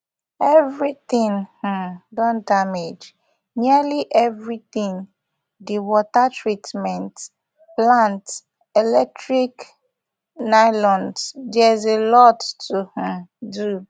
everytin um don damage nearly everytin di water treatment plant electric pylons theres a lot to um do